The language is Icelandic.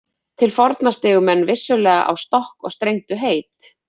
Til forna stigu menn vissulega á stokk og strengdu heit.